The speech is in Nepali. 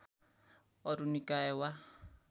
अरू निकाय वा